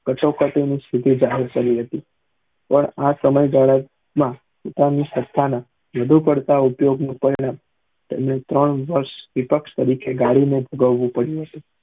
કતા કટા ની સ્થિતિ જાહિર કરી હતી પણ આ સમય જાહેર્રત માં પોતાની સત્પતા ના વધુ કરતા ઉપયોગ ના પરિણામ તેમને ત્રણ વર્ષ વિપક્ષ તરીકે ગાડી માં ભોગવવું પડ્યું હતું